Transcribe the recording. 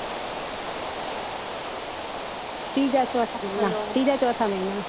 ત્રીજા ચોથા મહિના માં